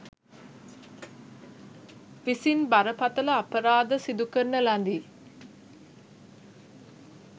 විසින් බරපතල අපරාධ සිදු කරන ලදී.